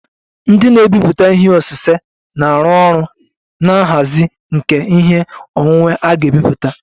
Ndị na-emepụta ihe osise na-arụ ọrụ na nhazi nke ihe onwunwe a ga-ebipụta